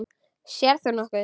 Sérð þú nokkuð?